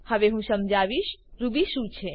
હવે હું સમજાવીશ રૂબી શું છે